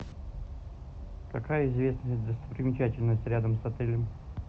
какая известная достопримечательность рядом с отелем